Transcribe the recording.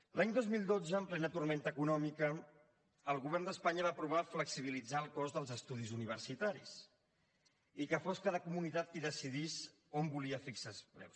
l’any dos mil dotze en plena tempesta econòmica el govern d’espanya va aprovar flexibilitzar el cost dels estudis universitaris i que fos cada comunitat qui decidís on volia fixar els preus